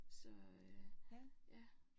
Så øh ja